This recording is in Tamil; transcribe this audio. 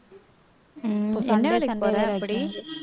உம் என்ன அப்படி